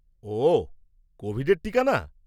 ওঃ, কোভিডের টিকা না?